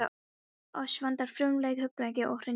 Oss vantar frumleik, hugrekki og hreinskilni.